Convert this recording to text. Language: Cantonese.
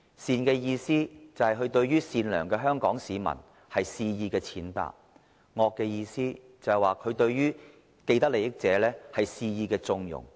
善的意思，是指他對於善良的香港市民，肆意踐踏；惡的意思，是指他對於既得利益者，肆意縱容。